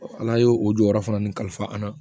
ala ye o jɔyɔrɔ fana nin kalifa an na